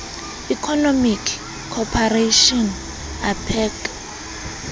economic cooperation apec